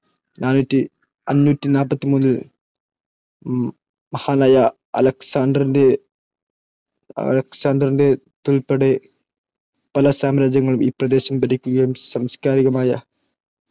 അഞ്ഞുറ്റി നാല്പത്തി മൂന്നിൽ ൽ മഹാനായ അലക്സാണ്ടറിന്റേതുൾപ്പെടെ പല സാമ്രാജ്യങ്ങളും ഈ പ്രദേശം ഭരിക്കുകയും സംസ്കാരികമായ